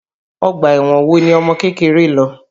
Ọgbà ẹ̀wọ̀n wo ni ọmọkékeré lọ?